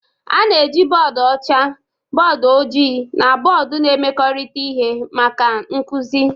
A na-eji bọọdụ ọcha, bọọdụ ojii na bọọdụ na-emekọrịta ihe maka nkuzi.